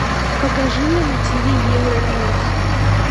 покажи мне на тиви евроньюс